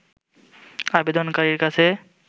আবেদনকারীর কাছে